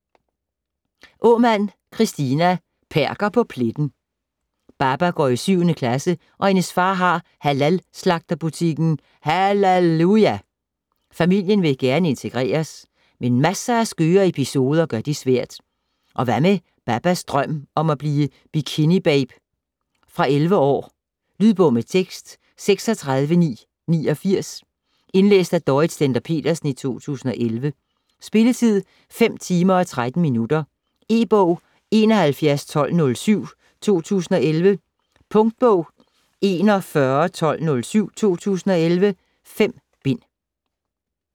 Aamand, Kristina: Perker på pletten Baba går i 7. klasse og hendes far har halal-slagterbutikken "HALALuja". Familien vil gerne integreres, men masser af skøre episoder gør det svært. Og hvad med Babas drøm om at blive bikinibabe? Fra 11 år. Lydbog med tekst 36989 Indlæst af Dorrit Stender-Petersen, 2011. Spilletid: 5 timer, 13 minutter. E-bog 711207 2011. Punktbog 411207 2011. 5 bind.